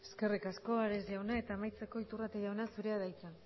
eskerrik asko ares jauna eta amaitzeko iturrate jauna zurea da hitza